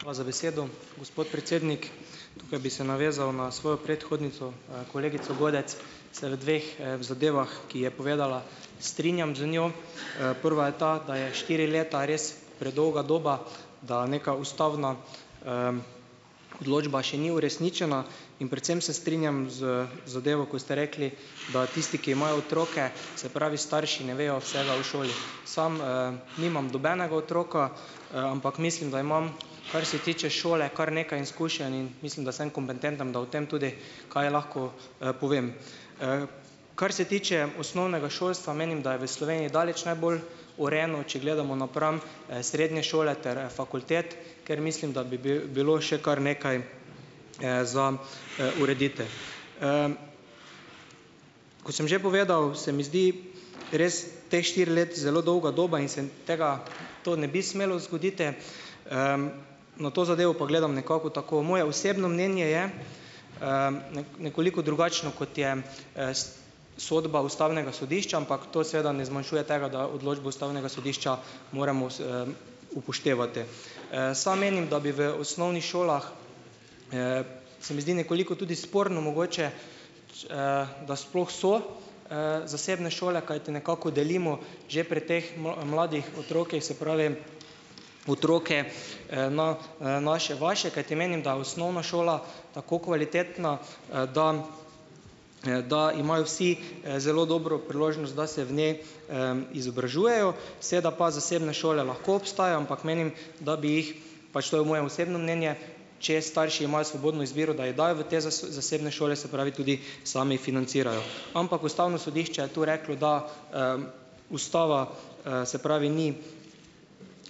Hvala za besedo, gospod predsednik. Tukaj bi se navezal na svojo predhodnico, kolegico Godec, se v dveh, v zadevah, ki je povedala, strinjam z njo. Prva je ta, da je štiri leta res predolga doba, da neka ustavna, odločba še ni uresničena. In predvsem se strinjam z zadevo, ko ste rekli, da tisti, ki imajo otroke, se pravi, starši, ne vejo vsega o šoli. Samo, nimam nobenega otroka, ampak mislim, da imam, kar se tiče šole, kar nekaj izkušenj, in mislim, da sem kompetenten, da o tem tudi kaj lahko, povem. Kar se tiče osnovnega šolstva, menim, da je v Sloveniji daleč najbolj urejeno, če gledamo napram, srednje šole ter fakultet, ker mislim, da bi bi bilo še kar nekaj, za, urediti. Kot sem že povedal, se mi zdi res ta štiri leta zelo dolga doba. In se tega, to ne bi smelo zgoditi. Na to zadevo pa gledam nekako tako. Moje osebno mnenje je, nekoliko drugačno, kot je, sodba ustavnega sodišča, ampak to seveda ne zmanjšuje tega, da odločbo ustavnega sodišča moramo upoštevati. Sam menim, da bi v osnovnih šolah, - se mi zdi nekoliko tudi sporno mogoče, da sploh so, zasebne šole, kajti nekako delimo že pri teh mladih otrocih, se pravi, otroke, na, naše, vaše. Kajti menim, da je osnovna šola tako kvalitetna, da, da imajo vsi, zelo dobro priložnost, da se v njej, izobražujejo. Seeda pa zasebne šole lahko obstajajo, ampak menim, da bi jih, pač to je moje osebno mnenje, če starši imajo svobodno izbiro, da jih dajo v te zasebne šole, se pravi, tudi sami financirajo. Ampak ustavno sodišče je to reklo, da, ustava, se pravi, ni,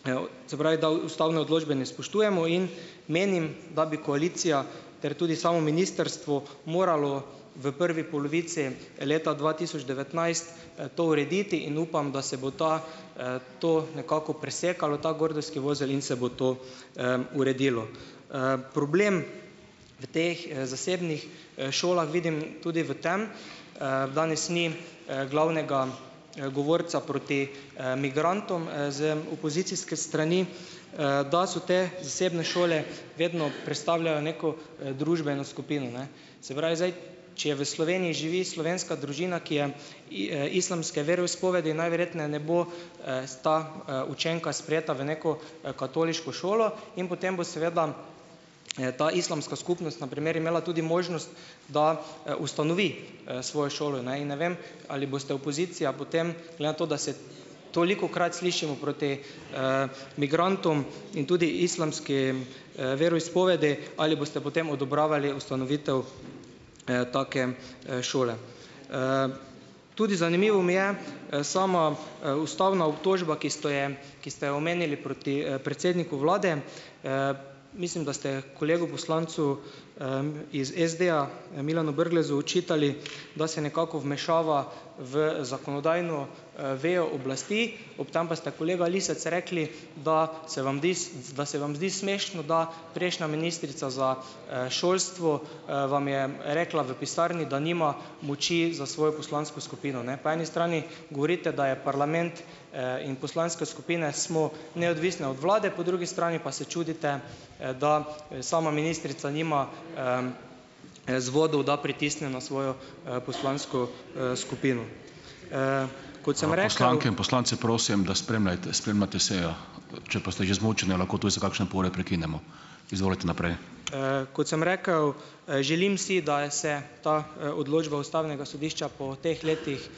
eo se pravi, da ustavne odločbe ne spoštujemo in menim, da bi koalicija ter tudi samo ministrstvo moralo v prvi polovici leta dva tisoč devetnajst, to urediti, in upam, da se bo ta, to nekako presekalo, ta gordijski vozel, in se bo to, uredilo. Problem v teh, zasebnih, šolah vidim tudi v tem, danes ni, glavnega, govorca proti, migrantom, z opozicijske strani, da so te zasebne šole, vedno predstavljajo neko, družbeno skupino, ne. Se pravi, zdaj - če je v Sloveniji živi slovenska družina, ki je in, islamske veroizpovedi, najverjetneje ne bo, s ta, učenka sprejeta v neko, katoliško šolo. In potem bo seveda, ta islamska skupnost na primer imela tudi možnost, da, ustanovi, svojo šolo, ne, in ne vem, ali boste, opozicija, potem - glede na to, da se - tolikokrat slišimo proti, migrantom in tudi islamskim, veroizpovedi, ali boste potem odobravali ustanovitev, take, šole. Tudi zanimivo mi je, sama, ustavna obtožba, ki ste jo, ki ste jo omenili, proti, predsedniku vlade. Mislim, da ste kolegu poslancu, iz SD-ja, Milanu Brglezu očitali, da se nekako vmešava v zakonodajno, vejo oblasti. Ob tem pa ste, kolega Lisec, rekli, da se vam da se vam zdi smešno, da prejšnja ministrica za, šolstvo, vam je, rekla v pisarni, da nima moči za svojo poslansko skupino, ne. Po eni strani govorite, da je parlament, in poslanske skupine smo neodvisne od vlade, po drugi strani pa se čudite, da, sama ministrica nima, vzvodov, da pritisne na svojo, poslansko, skupino. kot sem rekel, želim si, da je se ta, odločba ustavnega sodišča po teh letih,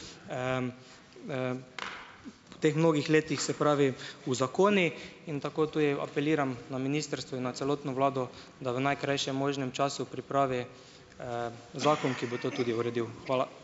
po teh mnogih letih, se pravi, uzakoni in tako tudi apeliram na ministrstvo in na celotno vlado, da v najkrajšem možnem času pripravi, zakon, ki bo to tudi uredil. Hvala.